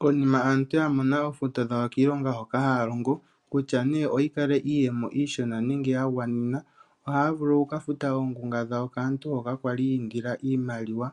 Konima aantu yamona oofuto dhawo kiilonga hoka haya longo, kutya nee oyi kale iiyemo iishona nenge yagwanenena, ohaya vulu okuka futa oongunga dhawo kaantu mboka kwali yiindila iimaliwa